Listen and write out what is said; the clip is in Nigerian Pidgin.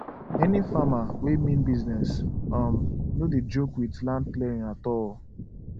any farmer wey mean business um no dey joke with land clearing at all